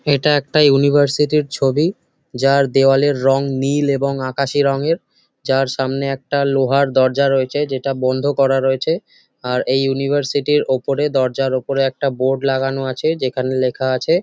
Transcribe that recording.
এটা একটা ইউনিভার্সিটির ছবি। যার দেয়ালের রং নীল এবং আকাশি রঙের। যার সামনে একটা লোহার দরজা রয়েছে যেটা বন্ধ করা রয়েছে। আর এই ইউনিভার্সিটির ওপরে দরজার ওপরে একটা বোর্ড লাগানো আছে যেখানে লেখা আছে--